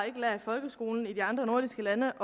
i folkeskolen i de andre nordiske lande